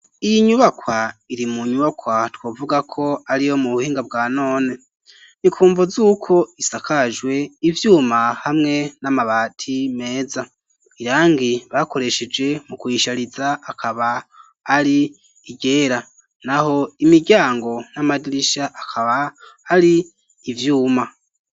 Iyi nyubakwa iri mu nyubakwa twavuga ko ariyo mu buhinga bwa none ni kumvo z'uko isakajwe ivyuma hamwe n'amabati meza, irangi bakoresheje mu kuyishariza akaba ari iryera, naho imiryango n'amadirisha akaba ari ivyuma.